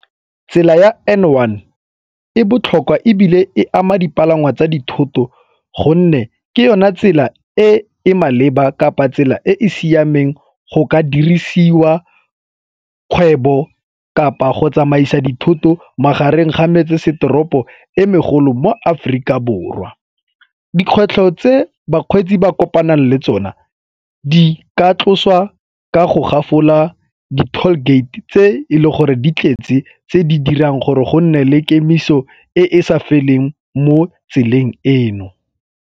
Tsela ya N one e botlhokwa ebile e ama dipalangwa tsa dithoto gonne ke yona tsela e e maleba kapa tsela e e siameng go ka dirisiwa kgwebo kapa go tsamaisa dithoto magareng ga metsesetoropo e megolo mo Aforika Borwa. Dikgwetlho tse bakgweetsi ba kopanang le tsona di ka tlosiwa ka go gafolela di-tall gate tse e leng gore di tletse tse di dirang gore go nne le kemiso e e sa feleng mo tseleng eno.